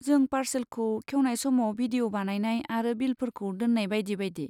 जेरै पारसेलखौ खेवनाय समाव भिडिअ' बानायनाय आरो बिलफोरखौ दोन्नाय बायदि बायदि।